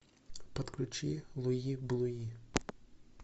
подключи луи блуи